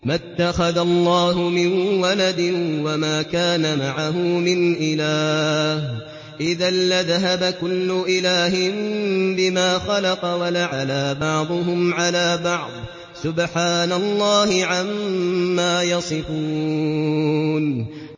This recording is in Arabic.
مَا اتَّخَذَ اللَّهُ مِن وَلَدٍ وَمَا كَانَ مَعَهُ مِنْ إِلَٰهٍ ۚ إِذًا لَّذَهَبَ كُلُّ إِلَٰهٍ بِمَا خَلَقَ وَلَعَلَا بَعْضُهُمْ عَلَىٰ بَعْضٍ ۚ سُبْحَانَ اللَّهِ عَمَّا يَصِفُونَ